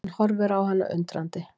Hann horfir á hana undrandi.